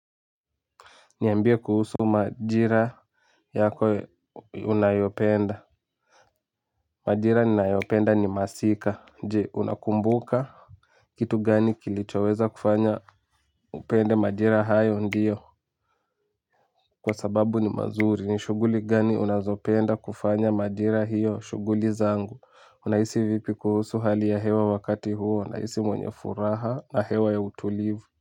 Niambia kuhusu majira yako unayopenda. Majira ninayopenda ni masika. Je, unakumbuka. Kitu gani kilichoweza kufanya upende majira hayo ndio. Kwa sababu ni mazuri. Ni shughuli gani unazopenda kufanya majira hiyo shughuli zangu. Unahisi vipi kuhusu hali ya hewa wakati huo. Nahisi mwenye furaha na hewa ya utulivu.